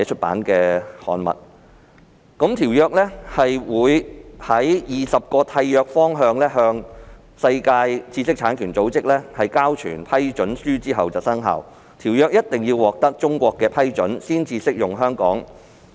《馬拉喀什條約》在20個締約方向世界知識產權組織交存批准書後才會生效，並一定要得到中國批准，才可以適用於香港。